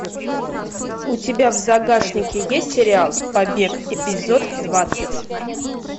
у тебя в загашнике есть сериал побег эпизод двадцать